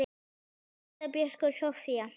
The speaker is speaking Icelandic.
Linda Björk og Soffía.